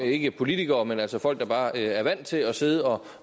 ikke politikere men altså folk der bare er vant til at sidde og